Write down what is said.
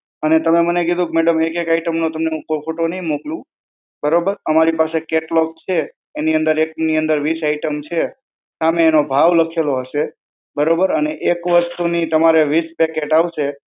અને તમે મને કીધું કે madam એક એક આઈટમો તમને હું photo નહીં મોકલું. બરોબર? અમારી પાસે કેટલોગ છે એની અંદર એક ની અંદર વીસ item છે. સામે એનો ભાવ લખેલો હશે. બરોબર? અને એક વસ્તુની તમારે વીસ packet આવશે.